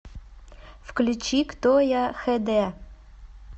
включи кто я хд